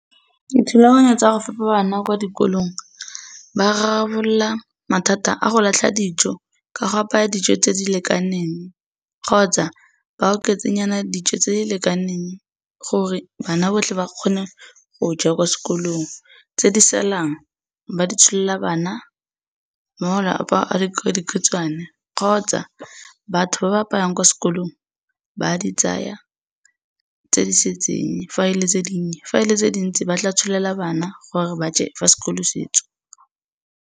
Dithulaganyo tsa go fepa bana kwa dikolong, ba rarabolola mathata a go latlha dijo ka go apaya dijo tse di lekaneng kgotsa ba oketse nyana dijo tse di lekaneng gore bana botlhe ba kgone go ja kwa sekolong, tse di salang ba di tsholela bana le malapa a dikobodikhutswane kgotsa batho ba ba apaya ko skolong ba di tsaya tse di setseng, fa e le tse dinnye, fa e le tse dintsi ba tla tsholela bana gore ba je ga sekolo se tswa.